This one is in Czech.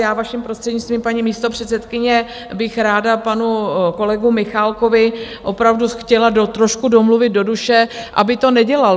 Já, vaším prostřednictvím, paní místopředsedkyně, bych ráda panu kolegu Michálkovi opravdu chtěla trošku domluvit do duše, aby to nedělal.